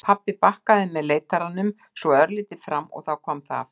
Pabbi bakkaði með leitaranum, svo örlítið fram og þá kom það aftur.